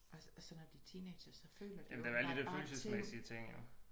Og så når de er teenagere så føler de jo åbenbart bare ting